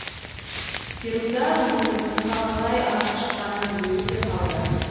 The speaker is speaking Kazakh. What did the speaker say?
феруза өзінің сыртқа қалай атып шыққанын білмей де қалды